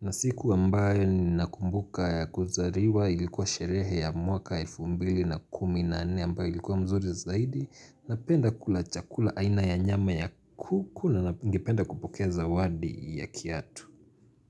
na siku ambayo ni nakumbuka ya kuzaliwa ilikuwa sherehe ya mwaka elfu mbili na kumi na nne ambayo ilikuwa mzuri zaidi Napenda kula chakula aina ya nyama ya kuku na ngependa kupoke zawadi ya kiatu.